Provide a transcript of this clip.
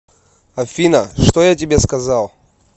афина что я тебе сказал